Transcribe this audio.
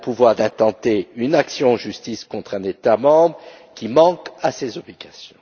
Elle a le pouvoir d'intenter une action en justice contre un État membre qui manque à ses obligations.